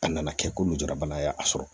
A nana kɛ ko njura bana y'a sɔrɔ